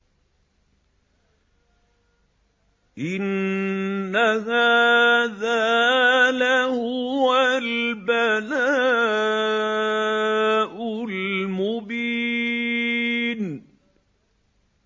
إِنَّ هَٰذَا لَهُوَ الْبَلَاءُ الْمُبِينُ